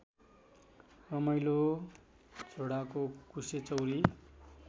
रमाइलो झोडाको कुशेचौरी